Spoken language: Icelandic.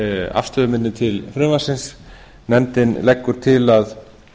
afstöðu minni til frumvarpsins nefndin leggur til að